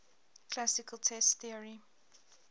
classical test theory